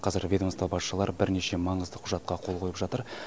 қазір ведомство басшылары бірнеше маңызды құжатқа қол қойып жатыр